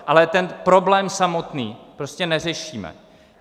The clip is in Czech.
Ale ten problém samotný prostě neřešíme.